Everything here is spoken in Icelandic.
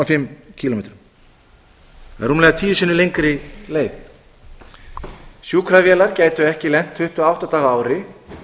fimm kílómetrum það er rúmlega tíu sinnum lengri leið sjúkravélar gætu ekki lent tuttugu og átta daga á ári